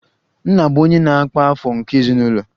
Nna bụ onye na-akpa afọ nke ezinụlọ